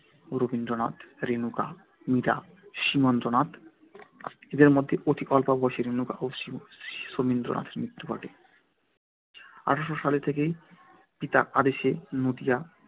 রথীন্দ্রনাথ, রেণুকা, মীরা এবং সীমান্দ্রনাথ। এঁদের মধ্যে অতি অল্প বয়সেই রেণুকা ও শমীন্দ্রনাথের মৃত্যু ঘটে আঠারোশো সাল থেকে পিতার আদেশে নদিয়া